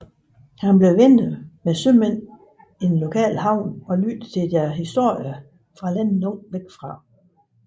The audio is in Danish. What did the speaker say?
Han blev venner med sømænd i den lokale havn og lyttede til deres historier fra lande langt væk